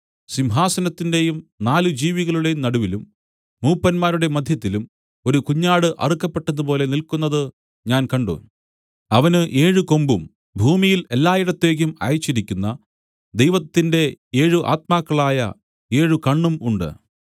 സിംഹസനത്തിന്റെയും നാല് ജീവികളുടെയും നടുവിലും മൂപ്പന്മാരുടെ മദ്ധ്യത്തിലും ഒരു കുഞ്ഞാട് അറുക്കപ്പെട്ടതുപോലെ നില്ക്കുന്നതു ഞാൻ കണ്ട് അവന് ഏഴ് കൊമ്പും ഭൂമിയിൽ എല്ലായിടത്തേക്കും അയച്ചിരിക്കുന്ന ദൈവത്തിന്റെ ഏഴ് ആത്മാക്കളായ ഏഴ് കണ്ണും ഉണ്ട്